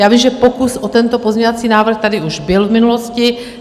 Já vím, že pokus o tento pozměňovací návrh tady už byl v minulosti.